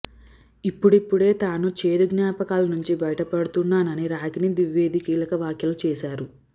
ఇప్పుడిప్పుడే తాను చేదు జ్ఞాపకాల నుంచి బయటపడుతున్నానని రాగిణి ద్వివేది కీలక వ్యాఖ్యలు చేశారు